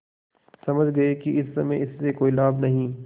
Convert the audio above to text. समझ गये कि इस समय इससे कोई लाभ नहीं